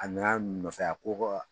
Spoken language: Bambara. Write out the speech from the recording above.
A nana masaya ko kɔ